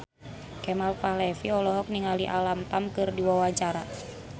Kemal Palevi olohok ningali Alam Tam keur diwawancara